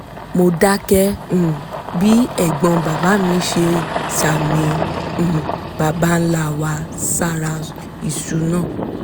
mo dákẹ́ um bí ẹ̀gbọ́n bàbá mi ṣe ń sàmì àwọn um baba ńlá wa sára iṣu náà